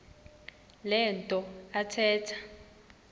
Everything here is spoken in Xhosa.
le nto athetha